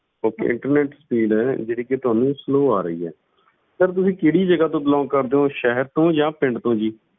Okay internet speed ਜਿਹੜੀ ਕਿ ਤੁਹਾਨੂੰ slow ਆ ਰਹੀ ਹੈ sir ਤੁਸੀਂ ਕਿਹੜੀ ਜਗ੍ਹਾ ਤੋਂ belong ਕਰਦੇ ਹੋ ਸ਼ਹਿਰ ਤੋਂ ਜਾਂ ਪਿੰਡ ਤੋਂ ਜੀ?